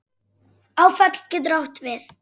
Áfall getur átt við